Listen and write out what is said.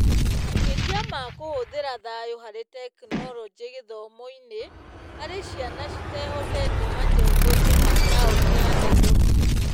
Makĩria ma kũhũthĩra thayũ harĩ Tekinoronjĩ gĩthomo-inĩ harĩ ciana citehotete majengoinĩ ma taũni ya Nairobi